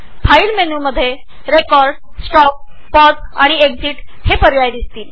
file मेन्युच्या खाली तुम्हाला रेकॉर्ड स्टॉप पॉज आणि एक्झीट हे पर्याय दिसतील